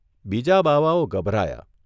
બીજા બાવાઓ ગભરાયા.